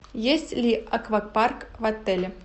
есть ли аквапарк в отеле